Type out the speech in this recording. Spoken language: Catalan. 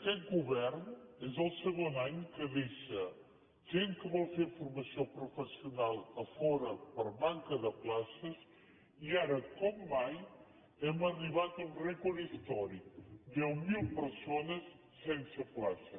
aquest govern és el segon any que deixa gent que vol fer formació professional a fora per manca de places i ara com mai hem arribat a un rècord històric deu mil persones sense plaça